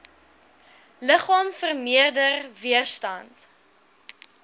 liggaam vermeerder weerstand